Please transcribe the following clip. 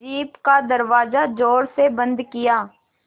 jeep का दरवाज़ा ज़ोर से बंद किया